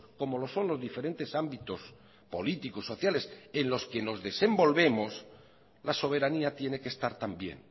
como los son los diferentes ámbitos políticos sociales en los que nos desenvolvemos la soberanía tiene que estar también